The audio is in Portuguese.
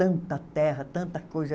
Tanta terra, tanta coisa...